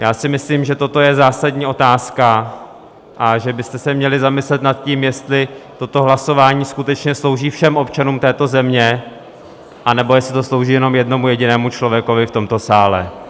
Já si myslím, že toto je zásadní otázka a že byste se měli zamyslet nad tím, jestli toto hlasování skutečně slouží všem občanům této země, anebo jestli to slouží jenom jednomu jedinému člověku v tomto sále.